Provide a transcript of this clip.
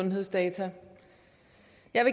er